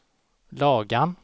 Lagan